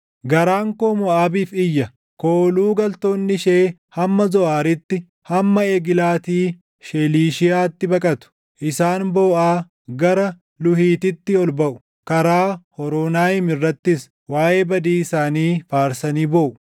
Garaan koo Moʼaabiif iyya; kooluu galtoonni ishee hamma Zoʼaariitti, hamma Eglaati Sheelishiyaatti baqatu. Isaan booʼaa, gara Luuhiititti ol baʼu; karaa Hooronaayim irrattis, waaʼee badii isaanii faarsanii booʼu.